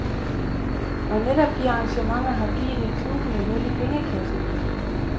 Og netop de arrangementer har givet et glubende hul i pengekassen.